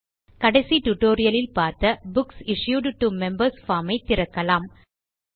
கடைசி tutorialலில் பார்த்த books issued to members form ஐ திறக்கலாம்